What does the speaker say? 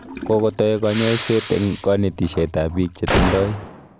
kokotai kanyaiset�eng�kanetishet ab biik che tindai